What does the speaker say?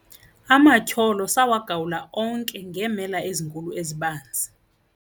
Amatyholo sawagawula onke ngeemela ezinkulu ezibanzi.